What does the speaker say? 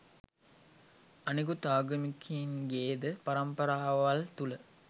අනිකුත් ආගමිකයින්ගේද පරම්පරාවල් තුල